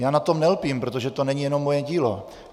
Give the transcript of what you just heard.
Já na tom nelpím, protože to není jenom moje dílo.